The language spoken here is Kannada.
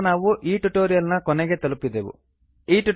ಈ ಮೂಲಕ ನಾವು ಟ್ಯುಟೋರಿಯಲ್ ನ ಕೊನೆಯನ್ನು ತಲುಪಿದೆವು